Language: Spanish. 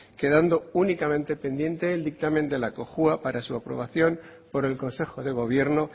quedando únicamente pendiente el dictamen de la cojua para su aprobación por el consejo de gobierno